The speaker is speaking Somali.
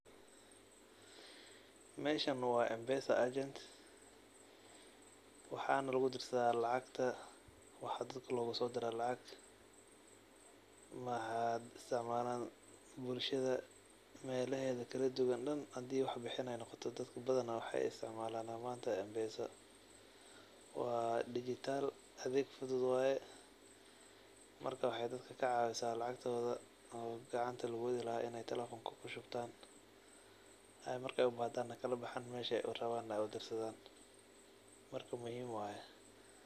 Meshanbwaa mpesa agent, waxana lugu dirsada lacagta waxa dadka loguso dira lacagta, maxa isticmaalan bulshada melaheeda kala duban dhan hadii wax bixin ay noqoto dadka badana manta waxay isticmaalana mpesa, waa dijital adeeg fudud waye, marka waxay dadka kacaawisa lacagtooda gacanta lugu wedi lahay inay talefonka kushubtan ay markay ubahdan na kala baxan meshay urawan na udirsadan, marka muhiim waye